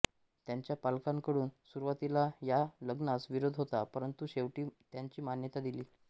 त्यांच्या पालकांकडून सुरुवातीला या लग्नास विरोध होता परंतु शेवटी त्यांनी मान्यता दिली